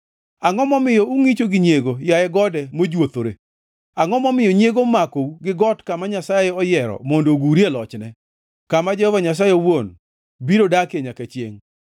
Angʼo momiyo ungʼicho gi nyiego, yaye gode mojuothore, angʼo momiyo nyiego omakou gi got kama Nyasaye oyiero mondo ogurie lochne, kama Jehova Nyasaye owuon biro dakie nyaka chiengʼ?